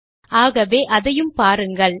அனேகமாக இதை காண்பதற்குள் தயாராகிவிடும்